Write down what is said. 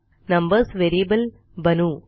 numbers variable बनवू